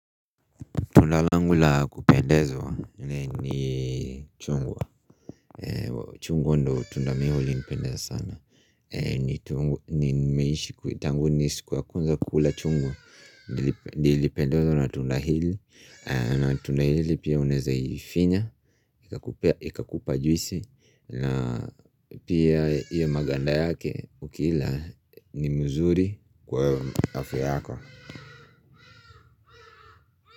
Tunda langu la kupendezwa ni chungwa chungwa ndo tundamio li nipendeza sana Nimeishi kuitangu ni sikuwa kwanza kula chungwa Nilipendezwa na tunda hili na tunda hili pia unaezaifinya Ika kupa juisi na pia iyo maganda yake ukila ni mzuri kwa afya yako.